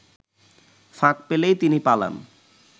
ফাঁক পেলেই তিনি পালান